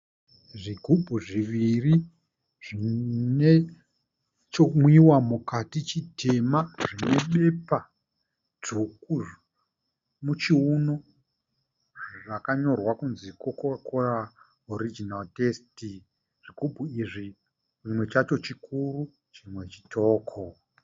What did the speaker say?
Zvigubhu zviviri zvine chimwiwa mukati chitema. Zvine pepa dzvuku muchiuno. Zvakanyorwa kunzi 'Coca-Cola Original Taste'. Zvikubhu izvi chimwe chacho chikuru chimwe chitoko.